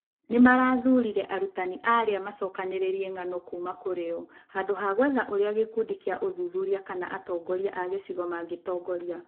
Nĩ maathurire arutani arĩa maacokanĩrĩirie ng'ano kuuma kũrĩ o, handũ ha gwetha ũrĩa gĩkundi kĩa ũthuthuria kana atongoria a gĩcigo mangĩtongoria.